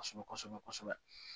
Kɔsɔbɛ kɔsɔbɛ kɔsɔbɛ